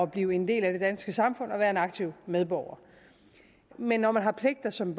blive en del af det danske samfund og være en aktiv medborger men når man har pligter som